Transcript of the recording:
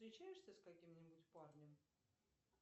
встречаешься с каким нибудь парнем